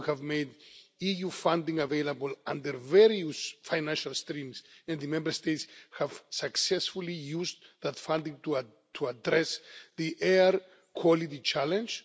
We have made EU funding available under various financial streams and the Member States have successfully used that funding to address the air quality challenge.